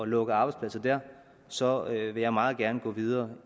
lukke arbejdspladser der så vil jeg meget gerne gå videre